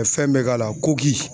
Ɛ fɛn bɛ k'a la kogi